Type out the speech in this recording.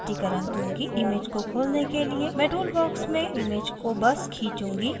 image को खोलने के लिए मैं tool box में image को box खींचूँगी और छोड़ूँगी